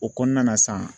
O kɔnɔna na sa